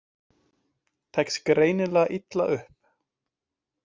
Tekst greinilega illa upp.